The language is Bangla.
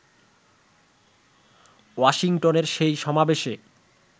ওয়াশিংটনের সেই সমাবেশে